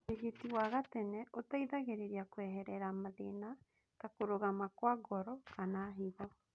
Ũrigiti wa gatene ũgũteithagĩrĩria kweherera mathina ta kũrũgama kwa ngoro, kana higo